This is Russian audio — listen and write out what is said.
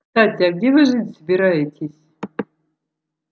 кстати а где вы жить собираетесь